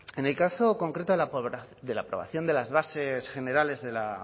en el caso concreto de la aprobación de las bases generales de la